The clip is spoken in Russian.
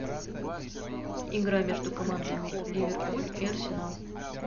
игра между командами ливерпуль и арсенал